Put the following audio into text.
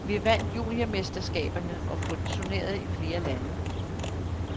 Vi vandt juniormesterskaberne og vi turnerede i flere lande.